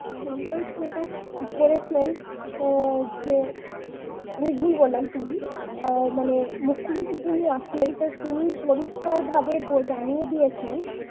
সংকল্প তো করেছেন অ্যাঁ যে আমি ভুল বললাম sorry মানে মুখ্য সচিব যিনি আছেন তিনি পরিষ্কারভাবে ব জানিয়ে দিয়েছেন